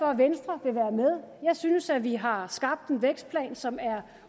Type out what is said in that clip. at venstre vil være med jeg synes at vi har skabt en vækstplan som er